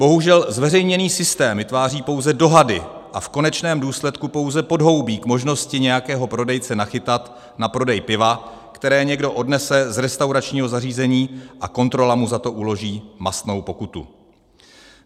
Bohužel zveřejněný systém vytváří pouze dohady a v konečném důsledku pouze podhoubí k možnosti nějakého prodejce nachytat na prodej piva, které někdo odnese z restauračního zařízení, a kontrola mu za to uloží mastnou pokutu.